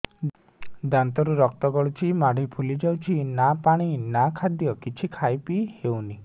ଦାନ୍ତ ରୁ ରକ୍ତ ଗଳୁଛି ମାଢି ଫୁଲି ଯାଉଛି ନା ପାଣି ନା ଖାଦ୍ୟ କିଛି ଖାଇ ପିଇ ହେଉନି